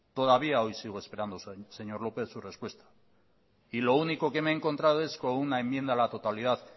todavía hoy sigo esperando señor lópez su respuesta lo único que me he encontrado es con una enmienda a la totalidad